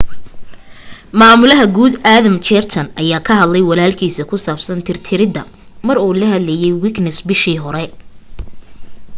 maamulaha guud adam cuerden ayaa ka hadlay walalkiisa ku saabsan tir tirida mar uu la hadlaye wikinews bishii hore